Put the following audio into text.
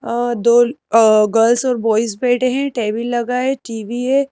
अ दो अ गर्ल्स और बॉयज बैठे हैं टेबल लगा है टी_वी है।